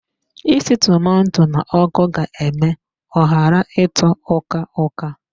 Isi tomato n'ọkụ ga eme ọ ghara ịtọ uka-uka